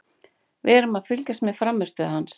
Við erum að fylgjast með frammistöðu hans.